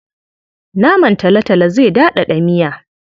Naman talotalo zai daɗaɗa miya.